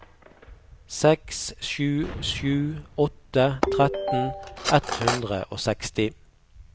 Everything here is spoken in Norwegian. seks sju sju åtte tretten ett hundre og seksti